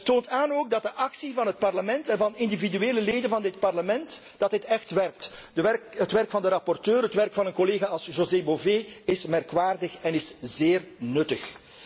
Het toont ook aan dat de actie van het Parlement en van individuele leden van dit Parlement, echt werkt. Het werk van de rapporteur, het werk van een collega als José Bové, is merkwaardig en is zeer nuttig.